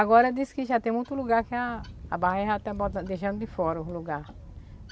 Agora diz que já tem muito lugar que a a barragem já está botan, deixando de fora o lugar.